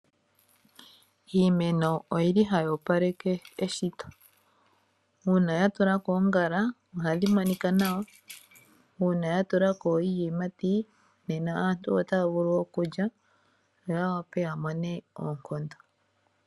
Iimeno oyili hayi opaleke eshito, uuna ya tulako oongala ohayi kala tayi monika nawa, uuna yatulako iiyimati nena aantu otaya vulu okulya, yo ya vule oku mona oonkondo.